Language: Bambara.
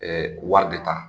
wari de ta